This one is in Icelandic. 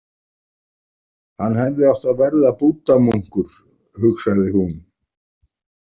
Hann hefði átt að verða búddamunkur, hugsaði hún.